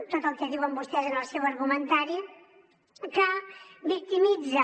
tot el que diuen vostès en el seu argumentari que victimitza